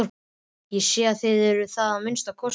Ég sé að þér eruð það að minnsta kosti.